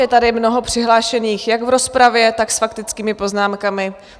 Je tady mnoho přihlášených jak v rozpravě, tak s faktickými poznámkami.